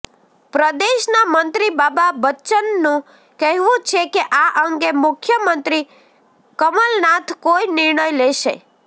પ્રદેશના મંત્રી બાબા બચ્ચનનું કહેવું છે કે આ અંગે મુખ્યમંત્રી કમલનાથ કોઈ નિર્ણય લેશે